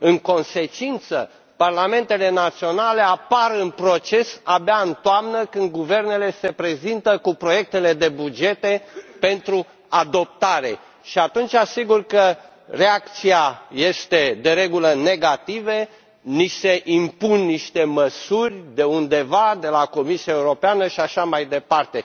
În consecință, parlamentele naționale apar în proces abia în toamnă, când guvernele se prezintă cu proiectele de bugete pentru adoptare și atunci sigur că reacția este de regulă negativă ni se impun niște măsuri de undeva de la Comisia Europeană și așa mai departe.